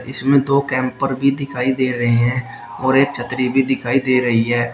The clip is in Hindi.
इसमें दो कैंपर भी दिखाई दे रहे हैं और एक छतरी भी दिखाई दे रही है।